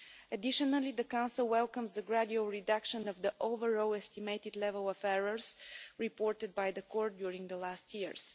Additionally, the Council welcomes the gradual reduction of the overall estimated level of error reported by the Court during the last years.